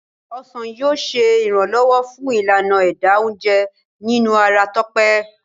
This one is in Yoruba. ọsán yíò ṣe iranlọwọ fun Ìlànà ẹ̀dà oúnjẹ nínú ara Tope.